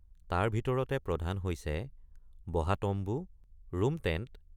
তাৰ ভিতৰতে প্ৰধান হৈছে বহা তম্বু ৰুম টেণ্ট ।